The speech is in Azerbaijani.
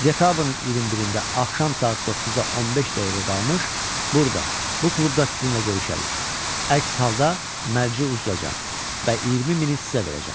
Dekabrın 21-də axşam saat 9-a 15 dəqiqə qalmış burda, bu klubda sizinlə görüşərik, əks halda mərci uduzacam və 20 mini sizə verəcəm.